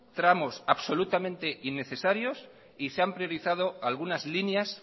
tramos absolutamente innecesarios y se han priorizado algunas líneas